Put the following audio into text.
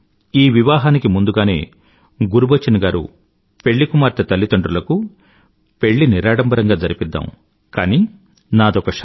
ఈ వివాహానికి ముందుగానే గురుబచన్ గారు పెళ్లికుమార్తె తల్లిదండ్రులకు పెళ్ళి నిరాడంబరంగా జరిపిద్దాం కానీ నాదొక షరతు